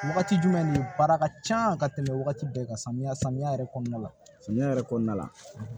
Wagati jumɛn nin baara ka can ka tɛmɛ wagati bɛɛ kan samiya samiya yɛrɛ kɔnɔna la samiya yɛrɛ kɔnɔna la